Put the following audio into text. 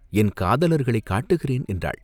என் காதலர்களைக் காட்டுகிறேன்!" என்றாள்.